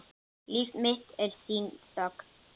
Líf mitt er þín þögn.